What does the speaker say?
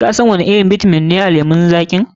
Kasan wani irin bitamin ne a lemon zaƙi?